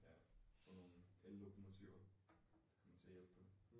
Ja. Få nogen ellokomotiver. Det kommer til at hjælpe på det